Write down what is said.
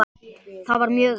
Það var mjög erfitt.